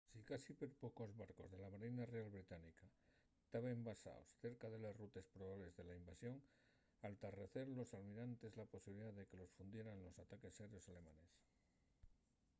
sicasí perpocos barcos de la marina real británica taben basaos cerca de les rutes probables de la invasión al tarrecer los almirantes la posibilidá de que los fundieran los ataques aéreos alemanes